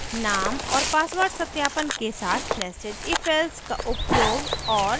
name और password सत्यापन के साथ nested ifelse का उपयोग और